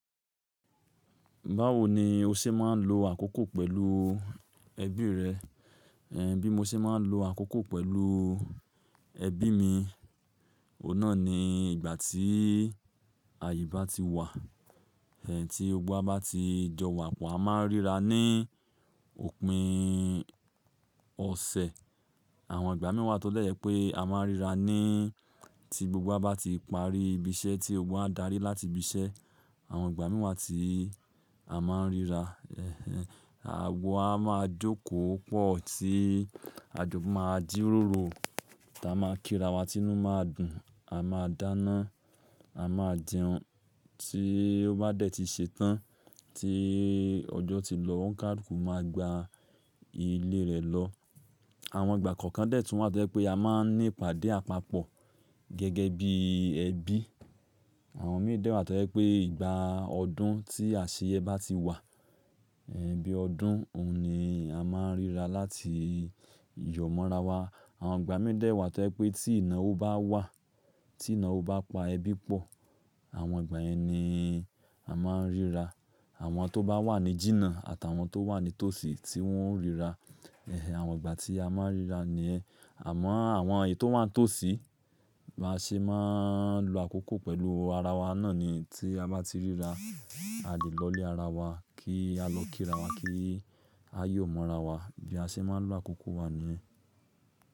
Báwo ni o ṣe máa ń lo àkókò pẹ̀lú ẹbí rẹ? Ẹ̀ bí mo ṣe máa ń lo àkókò pẹ̀lú ẹbí mi, òun náà ni ìgbà tí àyè bá ti wà, tí gbogbo bá ti jọ wà, à máa ń ríra ní òpin ọ̀sẹ̀. Àwọn ìgbà mìí wà tọ́ lẹ̀ pé a máa ń ríra ní tí gbogbo wa bá ti parí ibi iṣẹ́ tí ogbà darí láti ibi iṣẹ́. Àwọn ìgbà mìí wà tí a máa ń ríra, àwò a máa jókòó pọ̀ tí àjọ máa jíròrò, táa máa kírawa, Tínú máa dùn, a máa dáná, a máa jẹun. Tí ó bá dẹ̀ ti ṣetán, tí ọjọ́ ti lọ, òun ka luku máa gba ilé rẹ̀ lọ. Àwọn ìgbà kọ̀ọ̀kan dẹ̀ tún wà tó pé a máa ń ní ìpàdé àpapọ̀ gẹ́gẹ́ bí ẹbí. Àwọn mìí dẹ wà tọ́ jẹ̀ pé ìgbà ọdún tí àṣeyẹ bá ti wà, bí ọdún, òun ni a máa ń ríra láti yọ̀ mọ́rawọn. Àwọn ìgbà mìí wà to jẹ̀ pé tí iná ò bá wà, tí iná ò bá pa ẹbí pọ̀, àwọn ìgbà yẹn ni a máa ń ríra. Àwọn tó bá wà ní jìnnà àtàwọn tó wà ní tòsí tí wọ́n ń ríra. Àwọn ìgbà tí a máa ń ríra ni ẹ. Àmọ́ àwọn ètò tó wà ní tòsí, bá ṣe máa ń lo àkókò pẹ̀lú ara wa náà ni tí a bá ti ríra, a lè lọlé ara wa kí á lọ kírawọn kí a yọ̀ mọ́rawọn. Bí a ṣe máa ń lo àkókò wa ni ẹ.